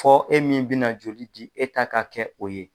Fɔ e min bɛna joli di e ta ka kɛ o ye.